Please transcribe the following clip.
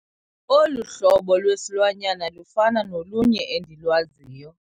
Olu hlobo lwesilwanyana lufana nolunye endilwaziyo.